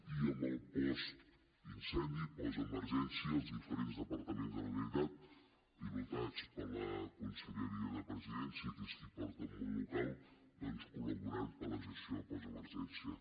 i amb el postincendi postemergència els diferents departaments de la generalitat pilotats per la conselleria de presidència que és qui porta el món local doncs col·laborant per la gestió postemergència